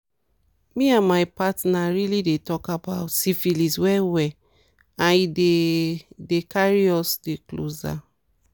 me and my partner really dey talk about syphilis well well and e dey dey carry us dey closer